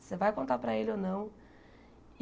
Você vai contar para ele ou não.